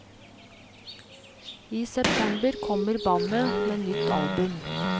I september kommer bandet med nytt album.